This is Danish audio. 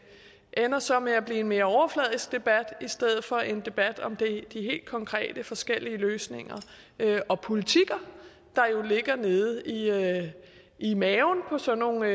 ender så med at blive en mere overfladisk debat i stedet for en debat om de helt konkrete forskellige løsninger og politikker der jo ligger nede i maven på sådan nogle